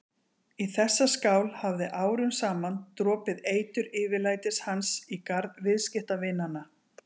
Í þessa skál hafði árum saman dropið eitur yfirlætis hans í garð viðskiptavinanna.